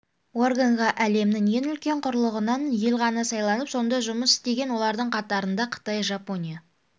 органға әлемнің ең үлкен құрлығынан ел ғана сайланып сонда жұмыс істеген олардың қатарында қытай жапония